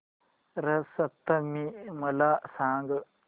रथ सप्तमी मला सांग